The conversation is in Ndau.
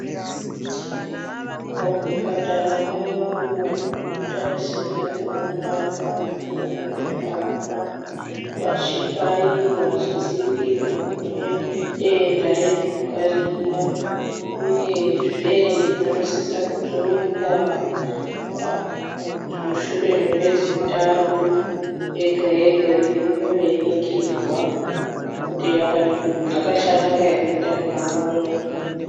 Muzvipatara mwedu tinotarisira kuona vakadzi vakazvitwara vachibairwa vachidziwirirwa kune denda rendunga riya uyezve vanosise kudzoka mushure memwedzi mutatu yega yega veiuye veiningirwa kuti zvakachanaka hre mundani mawomo .